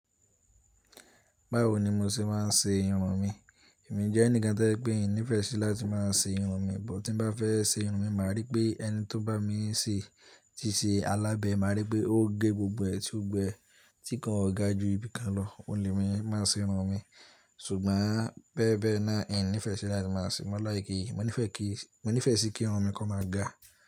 Báwo ni mo ṣe máa ń ṣe irun mi? Èmi jẹ́ ẹnìkan tí ẹ pé ìní ìfẹ́ sí láti máa ṣe irun mi, bọ̀ tí bá fẹ́ ṣe irun mi, màá rí pé ẹni tó bá mi ṣe, tí ṣe alábẹ̀, màá rí pé ó gé gbogbo ẹ̀tí ògbẹ̀ tí kan ò ga ju ibìkan lọ, ò le mi máa ṣe irun mi. Ṣùgbọ́n bẹ́ẹ̀ bẹ́ẹ̀ náà, ẹ́ nífẹ̀ẹ́ sí láti máa ṣe, mó like, mo nífẹ̀ẹ́ kí, mo nífẹ̀ẹ́ sí kí irun mi kan máa ga.